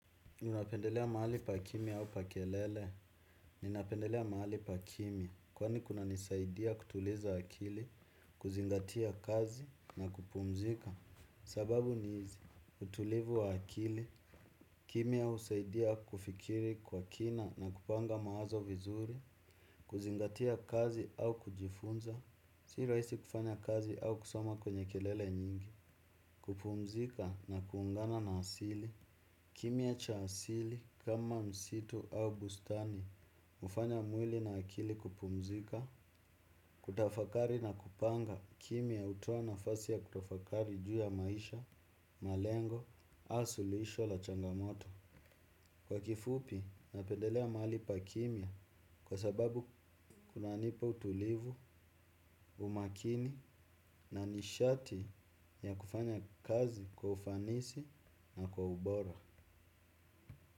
Ninapendelea mahali pa kimia au pa kelele. Ninapendelea mahali pa kimia. Kwani kuna nisaidia kutuliza akili. Kuzingatia kazi na kupumzika. Sababu nihizi utulivu wa akili. Kimia husaidia kufikiri kwa kina na kupanga mawazo vizuri. Kuzingatia kazi au kujifunza sirahisi kufanya kazi au kusoma kwenye kelele nyingi. Kupumzika na kuungana na asili kimia cha asili kama msitu au bustani hufanya mwili na akili kupumzika, kutafakari na kupanga kimia hutoana fasi ya kutafakari juu ya maisha, malengo, ausu luhisho la changamoto. Kwa kifupi napendelea mahali pa kimia kwa sababu kuna nipa utulivu, umakini na nishati ya kufanya kazi kwa ufanisi na kwa ubora.